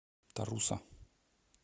таруса